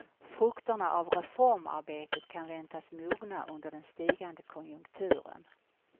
Frukterna av reformarbetet kan väntas mogna under den stigande konjunkturen.